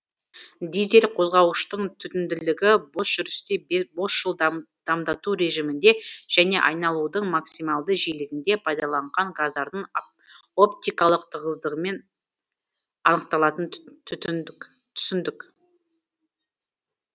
дизель қозғауыштың түтінділігі босжүрісте босжыл дамдату режимінде және айналудың максималды жиілігінде оптикалық тығыздықпен анықталатын түсіндік